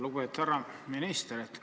Lugupeetud härra minister!